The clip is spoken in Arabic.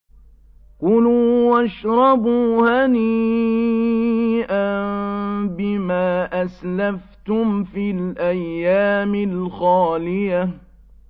كُلُوا وَاشْرَبُوا هَنِيئًا بِمَا أَسْلَفْتُمْ فِي الْأَيَّامِ الْخَالِيَةِ